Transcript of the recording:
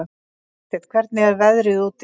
Vésteinn, hvernig er veðrið úti?